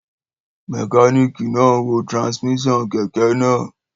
Mẹkánìkì náà n wo tirasímíṣàn kẹ̀kẹ́ náà